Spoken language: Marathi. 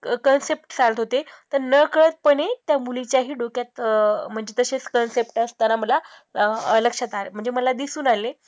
concept चालत होते, तर न कळतपणे त्या मुलीच्याही डोक्यात अं म्हणजे तसेच concept असताना मला अं लक्षात आ म्हणजे मला दिसून आले.